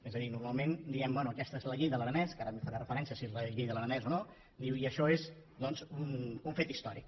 és a dir normalment diem bé aquesta és la llei de l’aranès que ara hi faré referència si és la llei de l’aranès o no i això és un fet històric